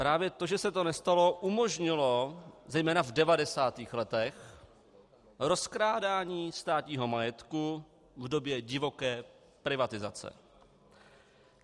Právě to, že se to nestalo, umožnilo zejména v 90. letech rozkrádání státního majetku v době divoké privatizace.